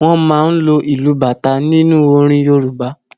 Wọ́n máa ń lo ìlù bata nínú orin Yorùbá.